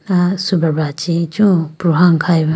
ah subrabra chee ichu pruhane khayeba.